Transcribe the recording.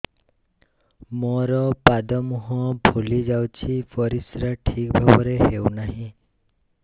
ମୋର ପାଦ ମୁହଁ ଫୁଲି ଯାଉଛି ପରିସ୍ରା ଠିକ୍ ଭାବରେ ହେଉନାହିଁ